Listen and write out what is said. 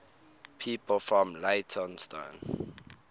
people from leytonstone